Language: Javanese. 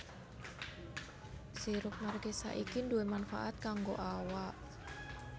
Sirup markisa iki duwè manfaat kanggo awak